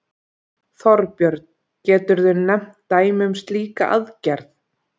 Þorbjörn: Geturðu nefnt dæmi um slíka aðgerð?